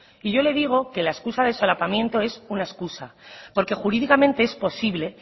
y yo le digo que la excusa de solapamiento es una excusa porque jurídicamente es posible